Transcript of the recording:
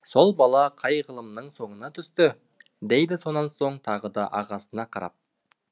сол бала қай ғылымның соңына түсті дейді сонан соң тағы да ағасына қарап